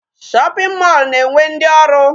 Shopping mall na-enwe ndị ọrụ.